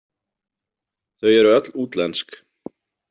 Þau eru öll útlensk.